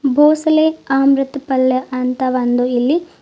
ಭೋಸಲೆ ಅಮೃತ್ ಪಲ್ಯ ಅಂತ ಒಂದು ಇಲ್ಲಿ--